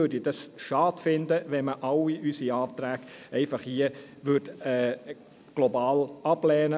Ich fände es schade, wenn man all unsere Anträge global ablehnte.